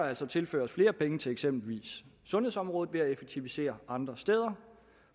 altså tilføres flere penge til eksempelvis sundhedsområdet ved at effektivisere andre steder